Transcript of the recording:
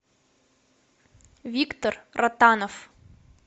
виктор ротанов